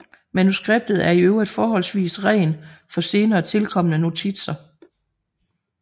Manuskriptet er i øvrigt forholdsvis ren for senere tilkomne notitser